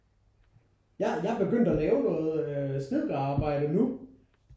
Jeg er jeg er begyndt at lave noget øh snedkerarbejde nu